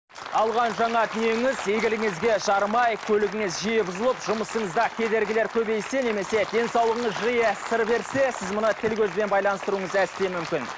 алған жаңа дүниеңіз игілігіңізге жарамай көлігіңіз жиі бұзылып жұмысыңызда кедергілер көбейсе немесе денсаулығыңыз жиі сыр берсе сіз мұны тіл көзбен байланыстыруыңыз әсте мүмкін